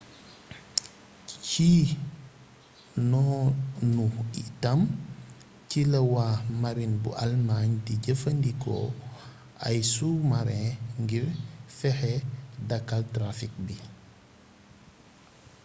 ci noonu itam ci la waa marine bu allemagne di jëfandikoo ay sous-marins ngir fexe dakkal trafic bii